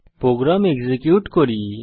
programme execute করি